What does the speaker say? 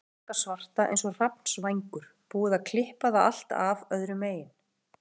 Hárið þykka svarta eins og hrafnsvængur, búið að klippa það allt af öðru megin.